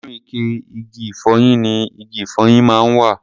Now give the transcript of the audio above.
Inú ike igi ìfọyín ni igi ìfọyín máa ń wà.